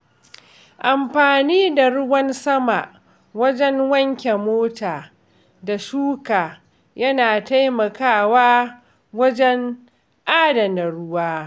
Amfani da ruwan sama wajen wanke mota da shuka yana taimakawa wajen adana ruwa.